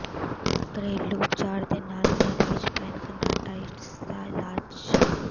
ਘਰੇਲੂ ਉਪਚਾਰ ਦੇ ਨਾਲ ਘਰ ਵਿੱਚ ਪੈਨਕਨਾਟਾਇਟਸ ਦਾ ਇਲਾਜ